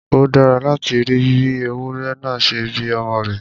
Ó dára láti rí bí ewúrẹ náà ṣe bí ọmọ rẹ̀